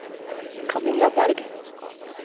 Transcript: Kamilla Bergh